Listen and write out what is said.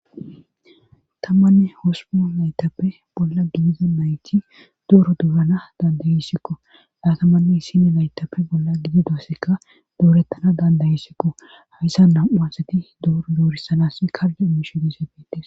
Tammanne hospoo laytappe bolla gidida mayti dooro duuhana dandayisikko daatamanne hissine laytappe bolla gido doassekka doorettana dandayisikko hayssa nam7uasati dooro doorisanas kalde imishedisepbetis